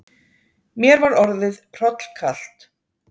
Mér var orðið hrollkalt.